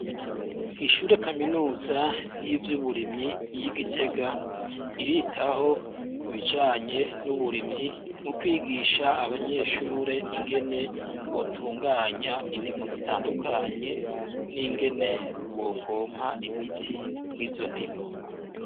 Ishure kaminuza y'ivyo uburimyi y'igitega, iritaho ibijanye n'uburimyi mu kwigisha abanyeshure ingene botunganya indimo zitandukanye n'ingene bokompa imiti mw'izo ndimo.